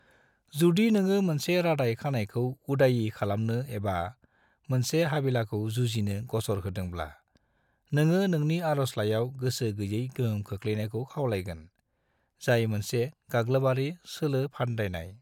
जुदि नोङो मोनसे रादाय खानायखौ उदायि खालामनो एबा मोनसे हाबिलाखौ जुजिनो गसर होदोंब्ला, नोङो नोंनि आर'जलाइयाव गोसो गैयै गोहोम गोग्लैनायखौ खावलायगोन, जाय मोनसे गाग्लोबआरि सोलोफान्दायनाय।